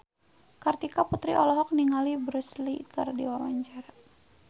Kartika Putri olohok ningali Bruce Lee keur diwawancara